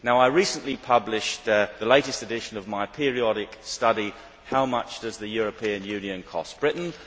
Now I recently published the latest addition of my periodic study, How Much Does the European Union Cost Britain?',